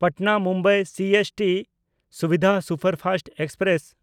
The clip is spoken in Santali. ᱯᱟᱴᱱᱟ–ᱢᱩᱢᱵᱟᱭ ᱥᱤᱮᱥᱴᱤ ᱥᱩᱵᱤᱫᱷᱟ ᱥᱩᱯᱟᱨᱯᱷᱟᱥᱴ ᱮᱠᱥᱯᱨᱮᱥ